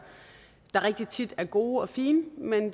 der rigtig tit er gode og fine men